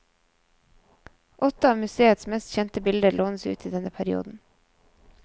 Åtte av museets mest kjente bilder lånes ut i denne perioden.